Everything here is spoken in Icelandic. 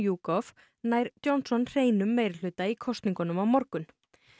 YouGov nær Johnson hreinum meirihluta í kosningunum á morgun